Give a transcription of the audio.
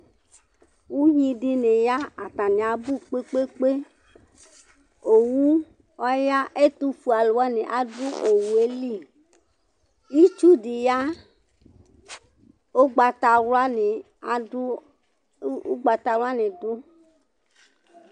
Ʋvidí ni ya atani abʋ kpe kpe kpe Owu ɔya ɛtʋfʋe alu wani adu owu ye li Itsu di ya, ʋgbatawla ni du